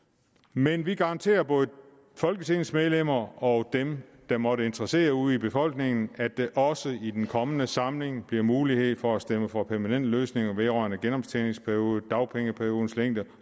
men vi garanterer både folketingets medlemmer og dem det måtte interessere ude i befolkningen at der også i den kommende samling bliver mulighed for at stemme for permanente løsninger vedrørende genoptjeningsperioden dagpengeperiodens længde